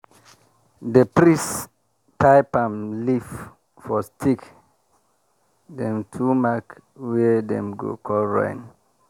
di priest tie palm leaf for stick dem to mark where dem go call rain.